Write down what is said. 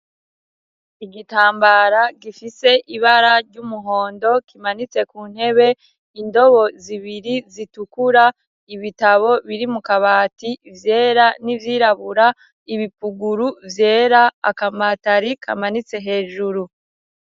Igitambara gifite ibara ry'umuhondo kimanitse ku ntebe, indobo zibiri zitukura, ibitabo biri mu kabati ivyera n'ivyirabura, ibipuguru vyera, akamatari kamanitse hejuru.